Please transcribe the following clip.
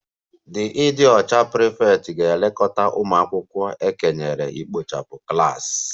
The ịdị ọcha prefect ga-elekọta ụmụ akwụkwọ e kenyere ikpochapụ klas